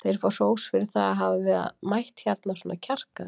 Þeir fá hrós fyrir það að hafa mætt hérna svona kjarkaðir.